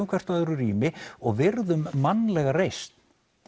hvort öðru rými og virðum mannlega reisn